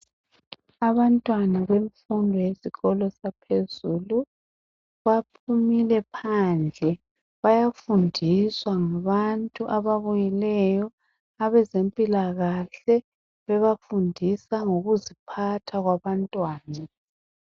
Abantwana bemfundo yesikolo saphezulu baphumile phandle bayafundiswa ngabantu ababuyileyo abezempilakahle bebafundisa ngokuziphatha kwabantwana.